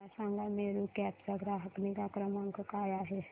मला सांगा मेरू कॅब चा ग्राहक निगा क्रमांक काय आहे